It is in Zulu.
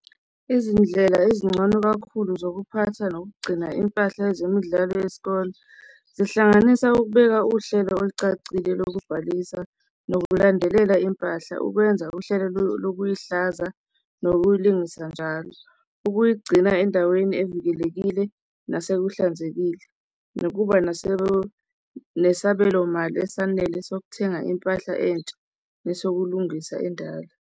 Izindlela ezingcono kakhulu zokuphatha nokugcina impahla ezemidlalo yesikole zihlanganisa ukubeka uhlelo olucacile lokubhalisa nokululandelela impahla, ukwenza uhlelo lokuyihlaza nokuyilungisa njalo, ukuyigcina endaweni evikelekile nasekuhlanzekile, nokuba nesabelomali esanele sokuthenga impahla entsha nesokulungisa endala.